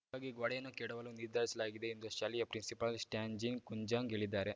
ಹೀಗಾಗಿ ಗೋಡೆಯನ್ನು ಕೆಡವಲು ನಿರ್ಧರಿಸಲಾಗಿದೆ ಎಂದು ಶಾಲೆಯ ಪ್ರಿನ್ಸಿಪಾಲ್‌ ಸ್ಟಾನ್ಜಿನ್‌ ಕುಂಜಾಂಗ್‌ ಹೇಳಿದ್ದಾರೆ